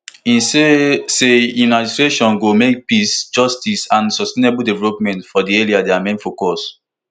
e say say im administration go make peace justice and sustainable development for di area dia main focus